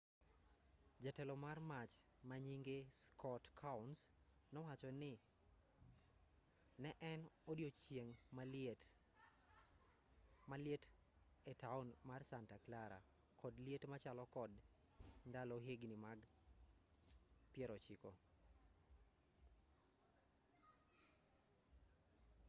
jatelo mar mach manyinge scott kouns nowacho ne en odiyochieng' maliet etaon mar santa clara kod liet machalo kod ndalo higni mag pierochiko